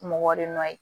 Mɔgɔ de nɔ ye